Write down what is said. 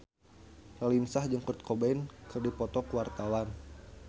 Raline Shah jeung Kurt Cobain keur dipoto ku wartawan